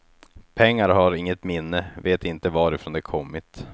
Pengar har inget minne, vet inte varifrån de kommit.